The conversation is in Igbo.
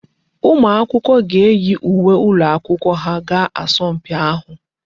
Ụmụ akwụkwọ ga eyi uwe ụlọakwụkwọ ha gaa asọmpi ahụ.